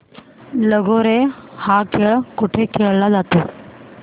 लगोर्या हा खेळ कुठे खेळला जातो